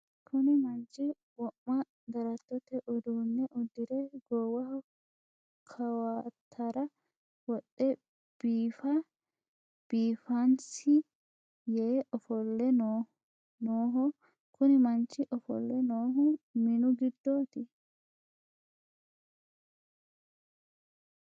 Kuni manchu wo'ma darattote uduunne uddire goowaho kawatara wodhe biifa biifaansi yee ofolle nooho. Kuni manchi ofolle noohu minu giddooti.